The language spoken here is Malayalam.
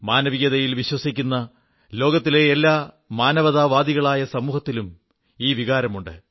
മാനവികതയിൽ വിശ്വസിക്കുന്ന ലോകത്തിലെ എല്ലാ മാനവതാവാദികളായ സമൂഹത്തിലും ഈ വികാരമുണ്ട്